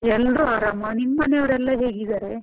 ಎಲ್ರು ಅರಾಮ್ ನಿಮ್ ಮನೆಯವರೆಲ್ಲ ಹೇಗಿದ್ದಾರೆ?